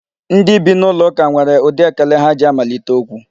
Ndị bi n'ụlọ ụka nwere ụdị ekele ha ji amalite okwu.